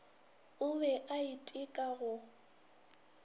o be a iteka go